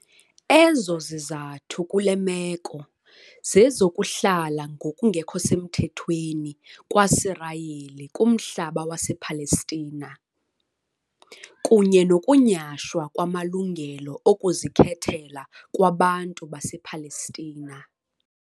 Ezo zizathu kule meko zezokuhlala ngokungekho semthethweni kwaSirayeli kumhlaba wasePalestina, kunye nokunyashwa kwamalungelo okuzikhethela kwabantu basePalestina.